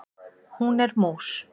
Hún er mús.